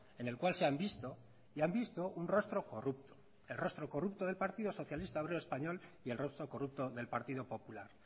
en el cual se han visto y han visto un rostro corrupto el rostro corrupto del partido socialista obrero español y el rostro corrupto del partido popular